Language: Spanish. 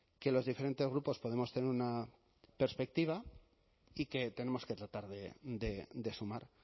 que los diferentes grupos podemos tener una perspectiva y que tenemos que tratar de sumar